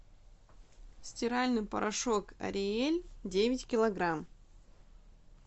стиральный порошок ариэль девять килограмм